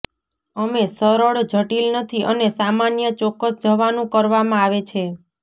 અમે સરળ જટિલ નથી અને સામાન્ય ચોક્કસ જવાનું કરવામાં આવે છે